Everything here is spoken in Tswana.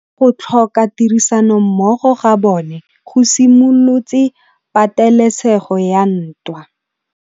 Go tlhoka tirsanommogo ga bone go simolotse patêlêsêgô ya ntwa.